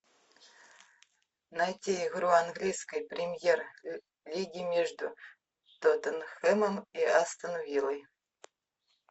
найти игру английской премьер лиги между тоттенхэмом и астон виллой